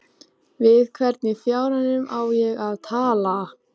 Við hvern í fjáranum á ég að tala?